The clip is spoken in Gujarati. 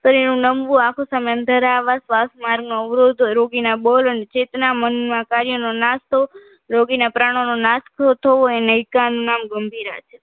શરીરનું નમવું આખું સમુદ્રતા આવવા શ્વાસ માર્ગોનો અવરોધ રોકીને બોલ અને ચેતના મનમાં કાર્યનો નાશ થવો રોગીના પ્રાણનો નાશ થવો એનો એકાદ નામ ગંભીરા છે